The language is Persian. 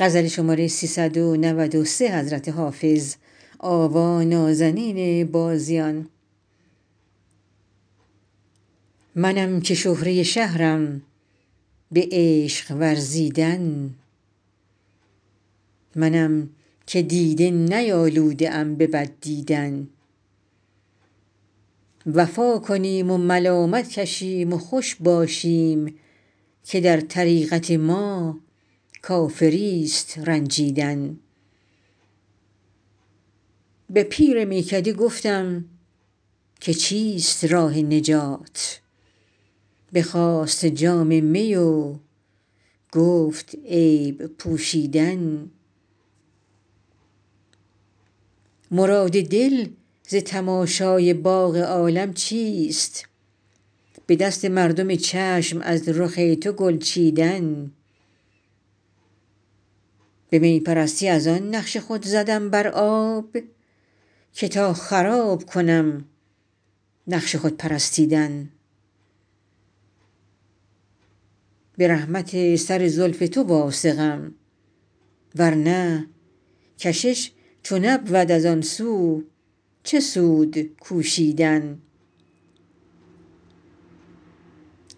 منم که شهره شهرم به عشق ورزیدن منم که دیده نیالوده ام به بد دیدن وفا کنیم و ملامت کشیم و خوش باشیم که در طریقت ما کافریست رنجیدن به پیر میکده گفتم که چیست راه نجات بخواست جام می و گفت عیب پوشیدن مراد دل ز تماشای باغ عالم چیست به دست مردم چشم از رخ تو گل چیدن به می پرستی از آن نقش خود زدم بر آب که تا خراب کنم نقش خود پرستیدن به رحمت سر زلف تو واثقم ورنه کشش چو نبود از آن سو چه سود کوشیدن